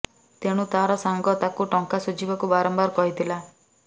ତେଣୁ ତାର ସାଙ୍ଗ ତାକୁ ଟଙ୍କା ସୁଝିବାକୁ ବାରମ୍ୱାର କହିଥିଲା